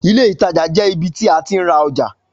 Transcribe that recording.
Ilé ìtajà jẹ ibi ti a ti ra ọja